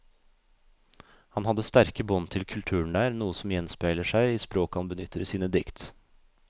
Han hadde sterke bånd til kulturen der, noe som gjenspeiler seg i språket han benytter i sine dikt.